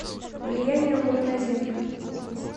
влияние луны на землю